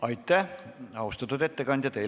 Aitäh, austatud ettekandja!